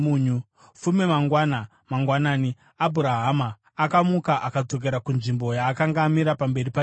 Fume mangwana mangwanani Abhurahama akamuka akadzokera kunzvimbo yaakanga amira pamberi paJehovha.